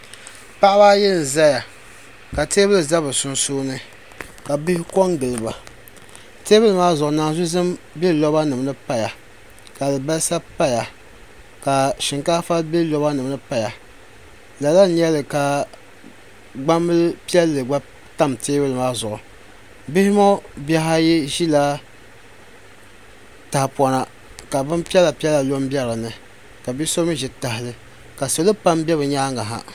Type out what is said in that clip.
paɣaba ayi n-zaya ka teebuli za bɛ sunsuuni ka bihi kɔŋ n-gili ba teebuli maa zuɣu naanzu' zim be lobanima ni pa ya ka alibalisa pa ya ka shinkaafa be loba nima ni pa ya lala n-nyɛli ka gbambil' piɛlli gba tam teebuli maa zuɣu bihi ŋɔ bih' ayi ʒila tahapona ka bin piɛla piɛla lɔ n-be din ni ka be so mi ʒi tahali ka salo pam be bɛ nyaaga ha.